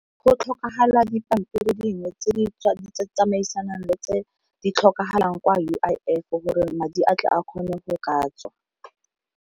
Go tlhokagala dipampiri dingwe tse di tsamaisanang le tse di tlhokagalang kwa U_I_F gore madi a tle a kgone go ka tswa.